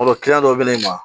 dɔ bɛ ne ma